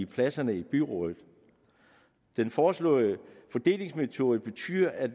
pladserne i byrådet den foreslåede fordelingsmetode betyder at